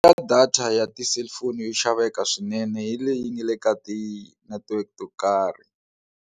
Ya data ya ti cellphone yo xaveka swinene hi leyi nga le ka ti network to karhi.